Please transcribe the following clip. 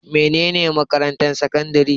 Mene ne makarantar sakandare?